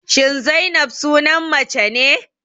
Shin Zainab sunan mace ne?